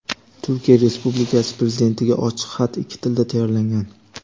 "Turkiya Respublikasi Prezidentiga ochiq xat" ikki tilda tayyorlangan.